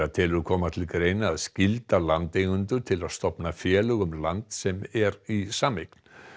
telur koma til greina að skylda landeigendur til að stofna félög um land sem er í sameign